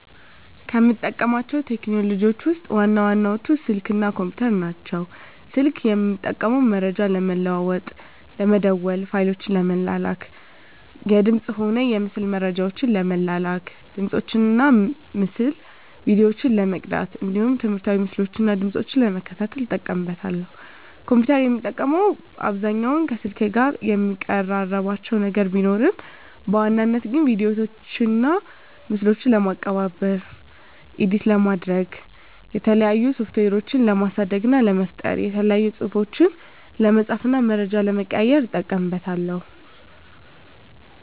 ከምጠቀማቸው ቴክኖሎጂዎችን ውስጥ ዋና ዋናዎቹ ስልክ እና ኮምፒተር ናቸው። ስልክን የምጠቀመው መረጃ ለመለዋዎጥ ለመደዋዎል፣ ፋይሎችን ለመላላክ፣ የድምፅንም ሆነ የምስል መረጃዎችን ለመላላክ፣ ድምፆችን እና የምስል ቪዲዮዎችን ለመቅዳት እንዲሁም ትምህርታዊ ምስሎችን እና ድምጾችን ለመከታተል እጠቀምበታለሁ። ኮምፒተርን የምጠቀምበት አብዛኛውን ከስልክ ጋር የሚቀራርባቸው ነገር ቢኖርም በዋናነት ግን ቪዲዮዎችና ምስሎችን ለማቀነባበር (ኤዲት) ለማድረግ፣ የተለያዩ ሶፍትዌሮችን ለማሳደግ እና ለመፍጠር፣ የተለያዩ ፅሁፎችን ለመፃፍ እና መረጃ ለመቀያየር ... እጠቀምበታለሁ።